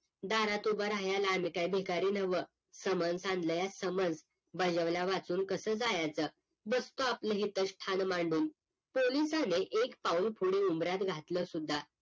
दारात उभं राहायाला आम्ही काही भिकारी नव्ह समन सांडलंया समज बजवल्या वाचून कस जायचं बसतो आपलं इथंच स्थान मांडून पोलिसाने एक पाऊल पुढे उंबऱ्यात घातल सुद्धा